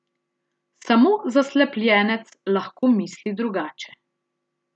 Samo zaslepljenec lahko misli drugače.